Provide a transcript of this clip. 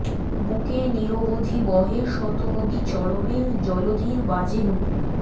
বুকে নিরবধি বহে শত নদী চরণে জলধির বাজে নূপুর